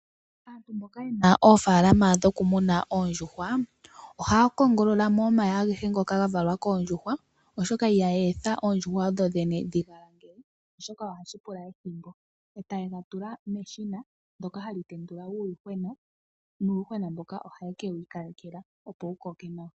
Aantu mboka yena oofaalama dho kumuna oondjuhwa, ohaya kongololamo omayayi agehe ngoka gavalwa koondjuhwa. Ihaya etha oondjuhwa odho dhene dhigalangele oshoka ohashi pula ethimbo etaye ga tula meshina ndyoka hali tendula uuyuhwena. Uuyuhwena mboka ohawu kala wiikalejelwa opo wukoke nawa.